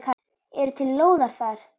Eru til lóðir þar?